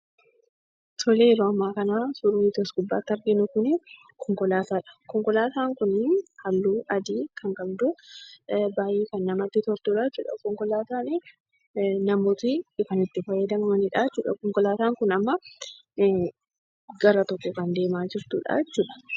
Tole yeroo ammaa kana suurrii asi gubbaarratti arginu kuni konkolaataadha. Konkolaataan kuni halluu adii kan qabdu baay'ee namatti kan toltudhaa jechuudha. Konkolaataani namoonni dhufanii itti fayyadamanidha konkolaataan Kun amma gara tokko deemaa kan jirtudhaa jechuudha.